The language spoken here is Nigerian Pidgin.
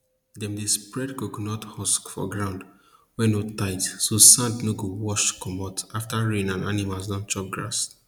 dem dey spread coconut husk for ground wey no tight so sand no go wash commot after rain and animals don chop grass